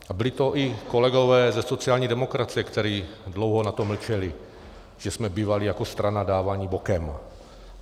A byli to i kolegové ze sociální demokracie, kteří dlouho na to mlčeli, že jsme bývali jako strana dáváni bokem.